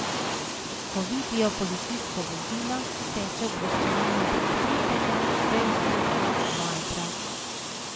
Ko vidijo policijsko vozilo, steče obveščanje prek tviterja, fejsbuka, vajbra.